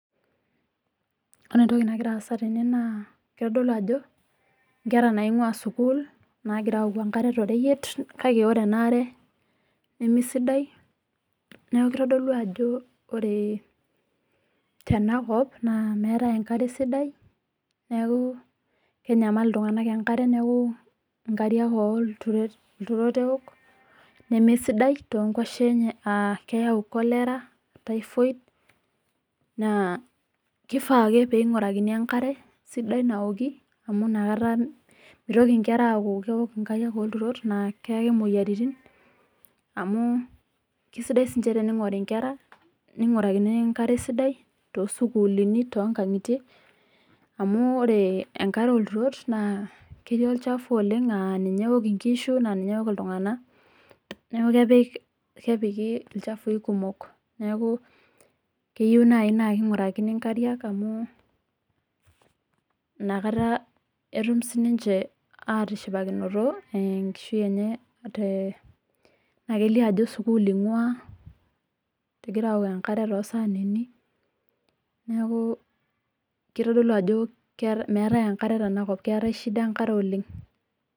Ore entoki nagira aasa tene naa kitodolu ajo nkera naing'waa sukuul naagira aaoku enkare to reyiet kake ore ena are nemesidai neeku kitodolu ajo ore tenakop naa meetae enkare sidai neeku kenyamal iltung'ana enkera neeku, nkariak oo lturot eok nemesidai too nkoshuaak enye amuu keyau kolera, taifoid, naa keifaa ake naakeing'urakini enkare sidai naoki amu inakata mitoki nkera aaok nkariak oo lturot naa keyaki mmoyiaritin. Keisidai sii tening'uri nkera neing'urakini enkare sidai naoki too sukuulini otoo nkang'itie amuu ore enkare oo lturot ketii olchafu oleng as ninye eok nkishu ninye eok iltung'ana, neeku kepiki lchafui kumok naa inakata etum sii ninche aatushipakinoto enkishui enye naa kelio ajo sukuul ing'waa egira aaok enkare neeku kitodolu ajo meetae nkare tena kop keetae shida enkare oleng